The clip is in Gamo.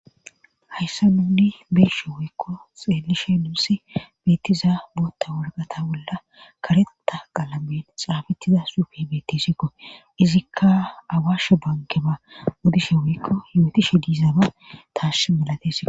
hayssa nuni beeshe woykko xeelishe nuusi beettiza bootta worqata bolla kareta qalamen xaafettida suufi beettisikko izikka awaashe bankema uddishe woykko yootishe diizaaba taash malatesio